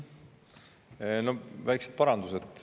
Teen väikesed parandused.